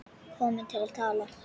Komin til að tala.